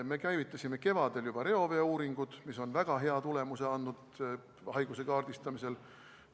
Me käivitasime juba kevadel reoveeuuringud, mis on väga hea tulemuse andnud haiguse kaardistamisel.